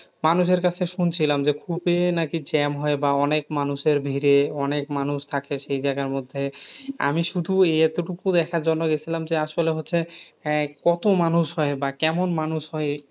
মানুষের কাছে শুনছিলাম যে খুবই নাকি jam হয় বা অনেক মানুষের ভিড়ে অনেক মানুষ থাকে সেই জায়গার মধ্যে। আমি শুধু এতটুকু দেখার জন্য গেছিলাম যে আসলে হচ্ছে, আহ কত মানুষ হয়? বা কেমন মানুষ হয়?